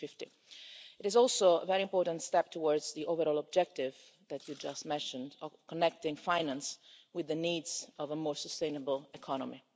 2015. It is also a very important step towards the overall objective that you just mentioned of connecting finance with the needs of a more sustainable economy.